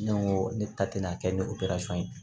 Ne ko ne ta tɛna kɛ ni operesɔn ye